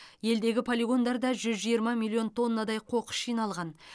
елдегі полигондарда жүз жиырма миллион тоннадай қоқыс жиналған